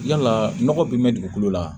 Yala nɔgɔ bi dugukolo la